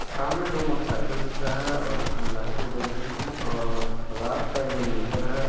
सामने दो motorcycle दिख रहा है और इसमे लाइटे जल रही हैं और रात का ये मंजर है।